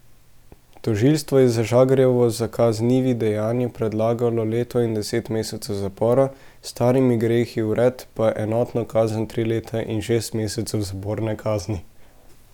Tožilstvo je za Žagarjevo za kaznivi dejanji predlagalo leto in deset mesecev zapora, s starimi grehi vred pa enotno kazen tri leta in šest mesecev zaporne kazni.